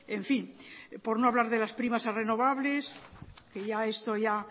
en fin por no hablar de las primas a renovables que ya esto ya